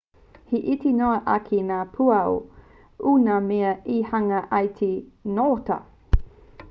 he iti noa ake ngā pūaho i ngā mea e hanga ai i te ngota